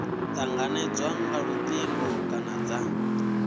tanganedzwa nga lutingo kana dza